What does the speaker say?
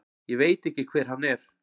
Ég veit ekki hver hann er.